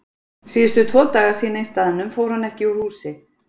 Síðustu tvo daga sína í staðnum fór hann ekki úr húsi.